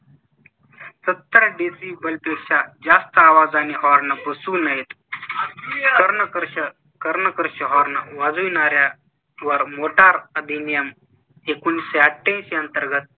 सत्तर डेसिबलपेक्षा जास्त आवाजानी horn बसवू नयेत. कर्णकर्कश कर्णकर्कश horn वाजविणाऱ्यावर मोटार अधिनियम एकोणीसशे अठऐंशी अंतर्गत